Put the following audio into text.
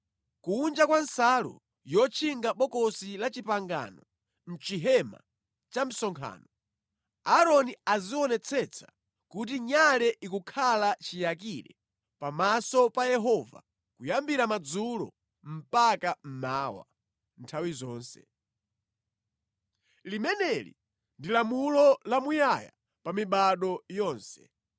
Kunja kwa nsalu yotchinga Bokosi la Chipangano, mʼchihema cha msonkhano, Aaroni azionetsetsa kuti nyale ikukhala chiyakire pamaso pa Yehova kuyambira madzulo mpaka mmawa, nthawi zonse. Limeneli ndi lamulo lamuyaya pa mibado yonse.